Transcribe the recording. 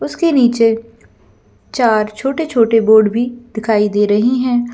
उसके नीचे चार छोटे-छोटे बोर्ड भी दिखाई दे रहें हैं।